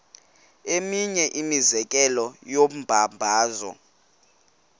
eminye imizekelo yombabazo